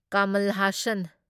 Kamal Hasan